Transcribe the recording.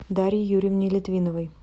дарье юрьевне литвиновой